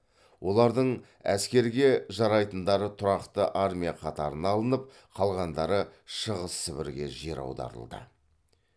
олардың әскерге жарайтындары тұрақты армия қатарына алынып қалғандары шығыс сібірге жер аударылды